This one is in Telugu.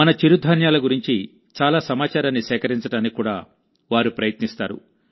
మన చిరుధాన్యాల గురించి చాలా సమాచారాన్ని సేకరించడానికి కూడా వారు ప్రయత్నిస్తారు